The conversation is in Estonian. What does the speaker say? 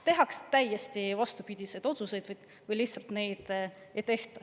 Tehakse täiesti vastupidiseid otsuseid või lihtsalt neid ei tehta.